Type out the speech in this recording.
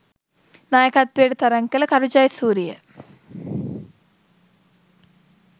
නායකත්වයට තරඟ කළ කරු ජයසුරිය